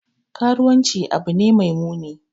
Karuwanci abu ne mai muni.